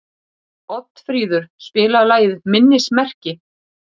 Oddfríður, spilaðu lagið „Minnismerki“.